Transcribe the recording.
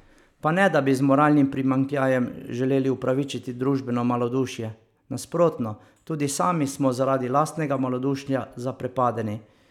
Pa ne da bi z moralnim primanjkljajem želeli upravičiti družbeno malodušje, nasprotno, tudi sami smo zaradi lastnega malodušja zaprepadeni.